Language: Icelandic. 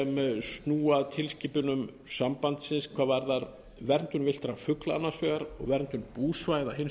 sem snúa að tilskipunum sambandsins hvað varðar verndun villtra fugla annars vegar og verndun búsvæða hins vegar